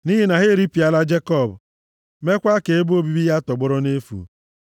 nʼihi na ha eripịala Jekọb mekwaa ka ebe obibi ya tọgbọrọ nʼefu.